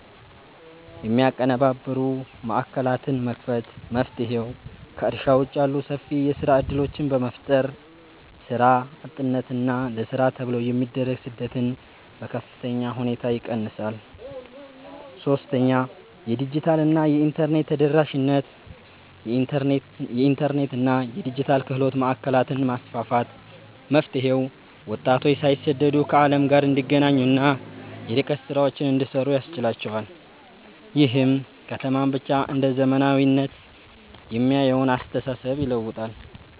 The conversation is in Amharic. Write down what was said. የሚያቀነባብሩ ማዕከላትን መክፈት። መፍትሔው፦ ከእርሻ ውጭ ያሉ ሰፊ የሥራ ዕድሎችን በመፍጠር፣ ሥራ አጥነትንና ለሥራ ተብሎ የሚደረግን ስደት በከፍተኛ ሁኔታ ይቀንሳል። 3. የዲጂታልና የኢንተርኔት ተደራሽነት የኢንተርኔትና የዲጂታል ክህሎት ማዕከላትን ማስፋፋት። መፍትሔው፦ ወጣቶች ሳይሰደዱ ከዓለም ጋር እንዲገናኙና የርቀት ሥራዎችን እንዲሠሩ ያስችላቸዋል። ይህም ከተማን ብቻ እንደ "ዘመናዊነት" የሚያየውን አስተሳሰብ ይለውጣል።